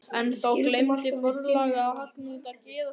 En þá gleymdi forlagið að hagnýta gæðastimpilinn!